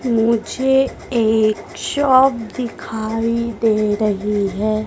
मुझे एक शॉप दिखाई दे रही है।